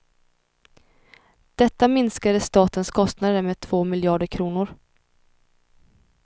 Detta minskade statens kostnader med två miljarder kronor.